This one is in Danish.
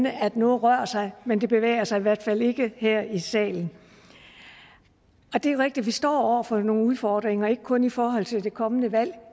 at noget rør sig men det bevæger sig i hvert fald ikke her i salen det er rigtigt at vi står over for nogle udfordringer og ikke kun i forhold til det kommende valg